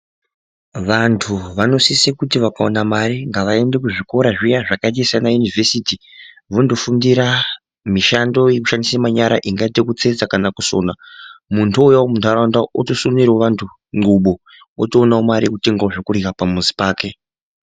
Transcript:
Vanthu vanosise kuti vakaona mare ngavaende kuzvikora zviya zvakaita saana yunivhesiti vondofundira mishando yekushandise manyara ingaite kutsetsa kana kusona munthu ouyawo muntharaunda otosonerewo anthu ndxubo otoonawo mare yekutengawo zvekurya pamuzi pake.